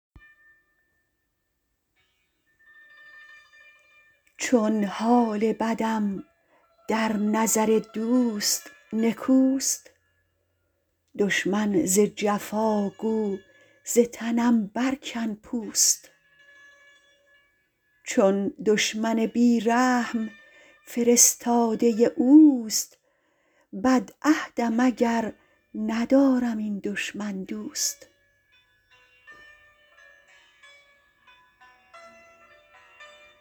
چون حال بدم در نظر دوست نکوست دشمن ز جفا گو ز تنم برکن پوست چون دشمن بی رحم فرستاده اوست بدعهدم اگر ندارم این دشمن دوست